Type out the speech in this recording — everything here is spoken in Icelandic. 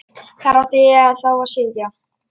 Hvar átti ég þá að sitja?